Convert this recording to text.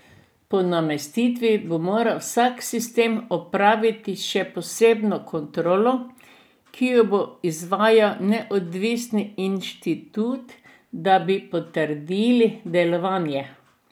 Po namestitvi bo moral vsak sistem opraviti še posebno kontrolo, ki jo bo izvajal neodvisni inštitut, da bi potrdili delovanje.